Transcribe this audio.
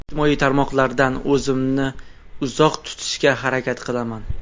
Ijtimoiy tarmoqlardan o‘zimni uzoq tutishga harakat qilaman.